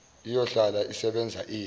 iyohlala isebenza ize